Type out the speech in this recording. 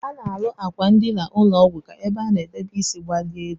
Ana arụ akwa ndina ụlọgwu ka ebe ana edebe isi gbalie elu.